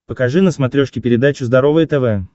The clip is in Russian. покажи на смотрешке передачу здоровое тв